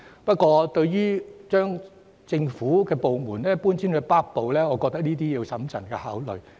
不過，對於將政府部門遷往北區，我認為要審慎考慮。